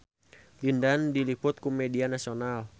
Lin Dan diliput ku media nasional